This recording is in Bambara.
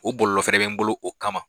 O bɔlɔlɔ fɛnɛ bɛ n bolo o kama.